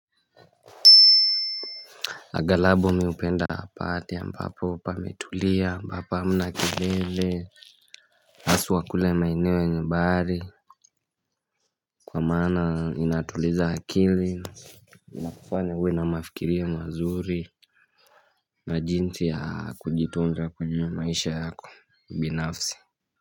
Agalabo mi upenda mahali ambapo pametulia ambapo hamna kelele Asu kule maeneo yenye bahari Kwa mana inatuliza akili inakufanya uwe na mafikirio mazuri Majinti ya kujitunja kwenye maisha yako binafsi.